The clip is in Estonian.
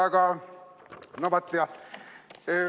Aga no vaat, jah.